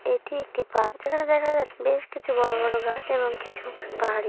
এটি একটি পার্ক । যেখানে দেখা যাচ্ছে কিছু বড়ো বড়ো গাছ এবং কিছু পাহাড়ি ।